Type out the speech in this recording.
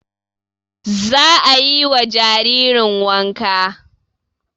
Za ayi wa jaririn wanka